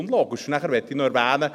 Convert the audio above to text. Und dann möchte ich noch erwähnen: